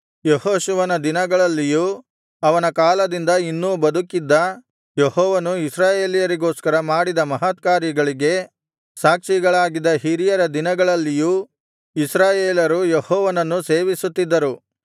ಯೆಹೋಶುವನ ದಿನಗಳಲ್ಲಿಯೂ ಅವನ ಕಾಲದಿಂದ ಇನ್ನೂ ಬದುಕಿದ್ದ ಯೆಹೋವನು ಇಸ್ರಾಯೇಲರಿಗೋಸ್ಕರ ಮಾಡಿದ ಮಹತ್ಕಾರ್ಯಗಳಿಗೆ ಸಾಕ್ಷಿಗಳಾಗಿದ್ದ ಹಿರಿಯರ ದಿನಗಳಲ್ಲಿಯೂ ಇಸ್ರಾಯೇಲರು ಯೆಹೋವನನ್ನು ಸೇವಿಸುತ್ತಿದ್ದರು